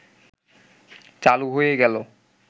চালু হয়ে গেল